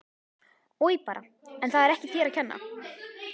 Oj bara en það er ekki þér að kenna